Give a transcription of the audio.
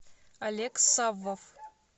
олег саввов